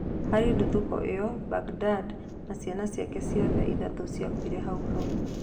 Harĩ ndũthũko ĩyo, Mbagidad na ciana ciake ciothe ithatũ ciakuire hau hau.